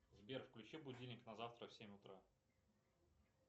сбер включи будильник на завтра в семь утра